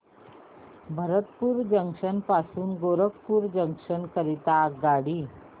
Bharatpur junction पासून Gorakhpur junction करीता आगगाडी